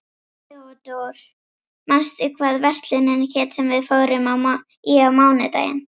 Theodór, manstu hvað verslunin hét sem við fórum í á mánudaginn?